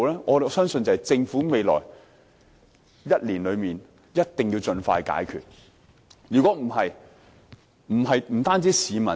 我相信政府在未來1年內必須盡快解決這個問題。